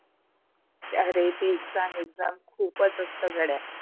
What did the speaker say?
अरे ते exam, exam खूपच असता गाड्या